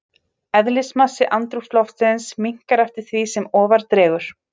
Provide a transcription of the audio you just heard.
Eðlismassi andrúmsloftsins minnkar eftir því sem ofar dregur.